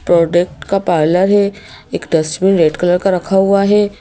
Product का parlour है एक डस्टबिन रेड कलर का रखा हुआ है।